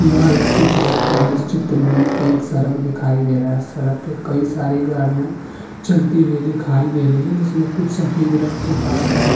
यह एक चित्र है और इस चित्र में एक सरक दिखाई दे रहा है सरक पे कई सारी गाडियां चलती हुई दिखाईं दे रही है जिसमें कुछ सफेद रंग की कार और --